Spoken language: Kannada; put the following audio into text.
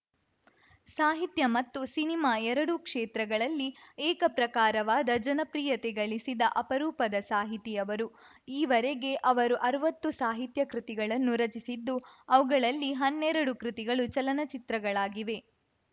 ಸಾಹಿತ್ಯ ಮತ್ತು ಸಿನಿಮಾ ಎರಡೂ ಕ್ಷೇತ್ರಗಳಲ್ಲಿ ಏಕ ಪ್ರಕಾರವಾದ ಜನಪ್ರಿಯತೆ ಗಳಿಸಿದ ಅಪರೂಪದ ಸಾಹಿತಿ ಅವರು ಈವರೆಗೆ ಸುಮಾರು ಅರ್ವತ್ತು ಸಾಹಿತ್ಯ ಕೃತಿಗಳನ್ನು ರಚಿಸಿದ್ದು ಅವುಗಳಲ್ಲಿ ಹನ್ನೆರಡು ಕೃತಿಗಳು ಚಲನಚಿತ್ರಗಳಾಗಿವೆ